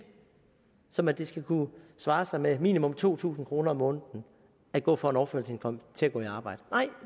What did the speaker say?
som at det skal kunne svare sig med minimum to tusind kroner om måneden at gå fra en overførselsindkomst til at gå i arbejde nej